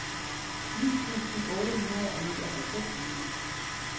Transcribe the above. ni tusind otte hundrede og nioghalvfems